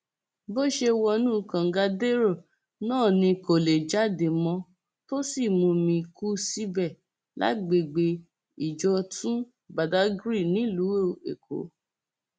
bó ṣe wọnú kàngadẹrọ náà ni kò lè jáde mọ tó sì mumi kú síbẹ lágbègbè ìjọtún badàgry nílùú èkó